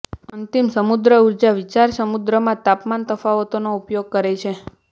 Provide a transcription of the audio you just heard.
અંતિમ સમુદ્ર ઊર્જા વિચાર સમુદ્રમાં તાપમાન તફાવતોનો ઉપયોગ કરે છે